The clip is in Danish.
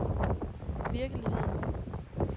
virkelighed